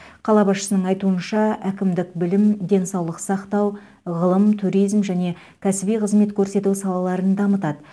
қала басшысының айтуынша әкімдік білім денсаулық сақтау ғылым туризм және кәсіби қызмет көрсету салаларын дамытады